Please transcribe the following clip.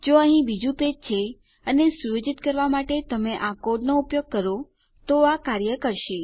જો અહીં બીજું પેજ છે અને સુયોજિત કરવા માટે તમે આ કોડનો ઉપયોગ કરો તો આ કાર્ય કરશે